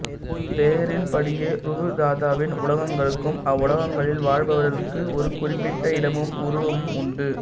பெயரின் படியே ரூபதாதுவின் உலகங்களுக்கும் அவ்வுலகங்களில் வாழ்பவர்களுக்கு ஒரு குறிப்பிட்ட இடமும் உருவமும் உண்டு